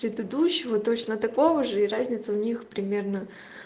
предыдущего точно такого же и разница у них примерно